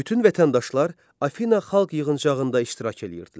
Bütün vətəndaşlar Afina Xalq Yığıncağında iştirak eləyirdilər.